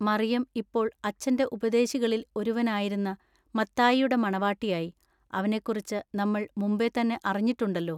മറിയം ഇപ്പോൾ അച്ചന്റെ ഉപദേശികളിൽ ഒരുവനായിരുന്ന മത്തായിയുടെ മണവാട്ടിയായി; അവനെക്കുറിച്ചു നമ്മൾ മുമ്പെ തന്നെ അറിഞ്ഞിട്ടുണ്ടെല്ലൊ.